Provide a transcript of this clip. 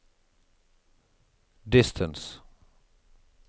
distance